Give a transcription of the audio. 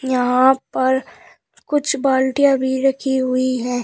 यहां पर कुछ बाल्टियां भी रखी हुई है।